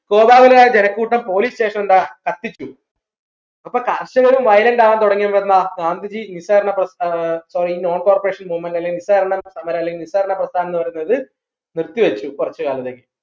കോതാവരായ ജനക്കൂട്ടം police station എന്താ കത്തിച്ചു അപ്പോ കർഷകരും violent ആവാം തൊടങ്ങിയൊണ്ട് എന്താ ഗാന്ധിജി നിസ്സാരണ പ്രസ്ഥാന sorry non corporation movement അല്ലെങ്കിൽ നിസ്സാരണ സമരം അല്ലെങ്കിൽ നിസ്സാരണ പ്രസ്ഥാനംന്ന് പറയുന്നത് നിർത്തിവെച്ചു കുറച്ച് കാലത്തേക്ക്